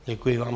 Děkuji vám.